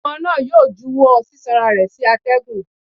Ọmọ náà yóò júwọ sisanra rẹ sí atẹgún